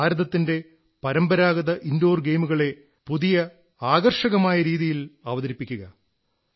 നാം ഭാരതത്തിന്റെ പരമ്പരാഗത ഇൻഡോർ ഗെയിമുകളെ പുതിയ ആകർഷകമായ രീതിയിൽ അവതരിപ്പിക്കുക